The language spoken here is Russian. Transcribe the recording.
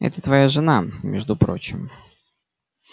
это твоя жена между прочим